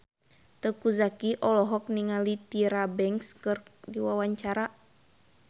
Teuku Zacky olohok ningali Tyra Banks keur diwawancara